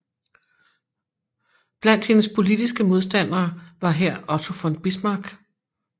Blandt hendes politiske modstandere var her Otto von Bismarck